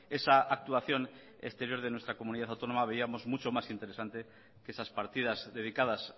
esa actuación exterior de nuestra comunidad autónoma veíamos mucho más interesante que esas partidas dedicadas